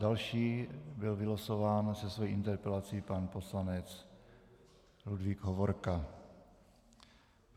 Další byl vylosován se svou interpelací pan poslanec Ludvík Hovorka.